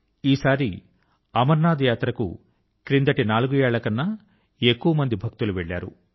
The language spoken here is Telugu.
ఈసారి అమరనాథ్ యాత్ర కు క్రిందటి నాలుగు ఏళ్ళ కన్నా ఎక్కువ మంది భక్తులు వెళ్ళారు